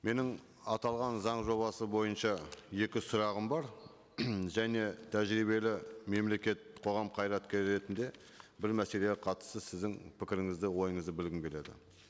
менің аталған заң жобасы бойынша екі сұрағым бар және тәжірибелі мемлекет қоғам қайраткері ретінде бір мәселеге қатысты сіздің пікіріңізді ойыңызды білгім келеді